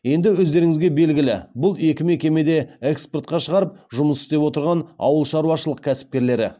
енді өздеріңізге белгілі бұл екі мекеме де экспортқа шығарып жұмыс істеп отырған ауылшаруашылық кәсіпкерлері